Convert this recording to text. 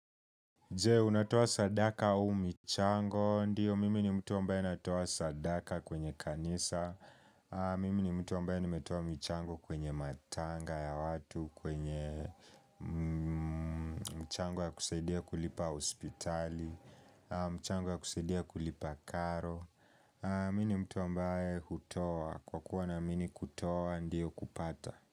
Je, unatua sadaka u michango, ndiyo mimi ni mtu ambaye natua sadaka kwenye kanisa Mimi ni mtu ambaye nimetua michango kwenye matanga ya watu, kwenye mchango ya kusaidia kulipa hospitali mchango ya kusaidia kulipa karo Mimi ni mtu ambaye hutoa, kwa kuwa na mimi kutoa ndiyo kupata.